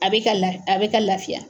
A bɛ ka la a bɛ ka laafiya.